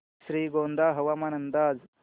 श्रीगोंदा हवामान अंदाज